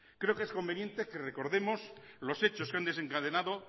creo que es conveniente que recordemos los hechos que han desencadenado